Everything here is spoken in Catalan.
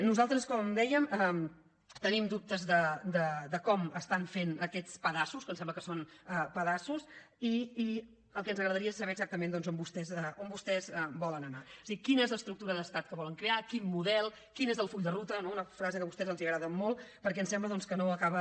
nosaltres com deia tenim dubtes de com estan fent aquest pedaços que em sembla que són pedaços i el que ens agradaria és saber exactament on vostès volen anar o sigui quina és l’estructura d’estat que vo len crear quin model quin és el full de ruta no una frase que a vostès els agrada molt perquè em sembla que no acaba